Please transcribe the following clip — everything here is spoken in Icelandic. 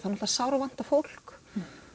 það sárvantar fólk